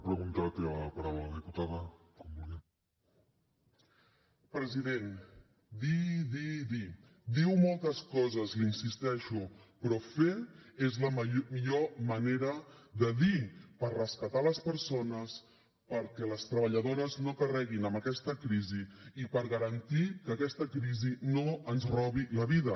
president dir dir dir diu moltes coses li insisteixo però fer és la millor manera de dir per rescatar les persones perquè les treballadores no carreguin amb aquesta crisi i per garantir que aquesta crisi no ens robi la vida